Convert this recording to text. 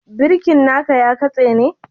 Birki na ka ya kasa ne?